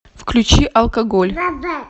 включи алкоголь